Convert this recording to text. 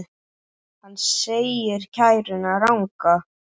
Hann segir kæruna ranga.